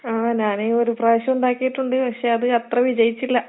ആഹ് ഞാന് ഒരു പ്രാവശ്യം ഉണ്ടാക്കിയിട്ടുണ്ട്. പക്ഷെ അത് അത്ര വിജയിച്ചില്ല.